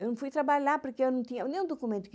Eu não fui trabalhar porque eu não tinha nenhum documento.